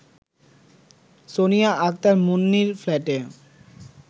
সোনিয়া আক্তার মুন্নির ফ্ল্যাটে